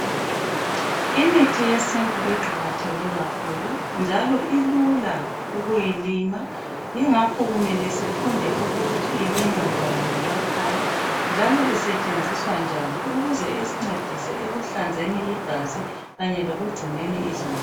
Imithi yesintu iqakatheke kakhulu njalo ilula ukuyilima yingakho kumele sifunde ukuthi ilinywa njani ngemakhaya njalo isetshenziswa njani ukuze isincedise ekuhlanzeni igazi kanye lekugcineni imzimba.